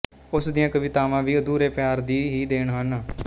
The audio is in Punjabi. ਉਸ ਦੀਆਂ ਕਵਿਤਾਵਾਂ ਵੀ ਅਧੂਰੇ ਪਿਆਰ ਦੀ ਹੀ ਦੇਣ ਹਨ